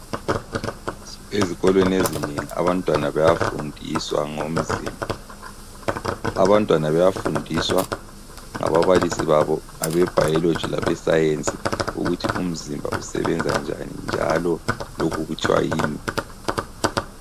Ezikolweni ezinengi abantwana bayafundiswa ngomzimba. Abantwana bayafundiswa ngababalisi babo abeBiology labeScience ukuthi umzimba usebenza njani njalo lokhu kuthwa yini.